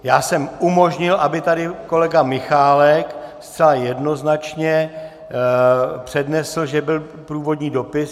Já jsem umožnil, aby tady kolega Michálek zcela jednoznačně přednesl, že byl průvodní dopis.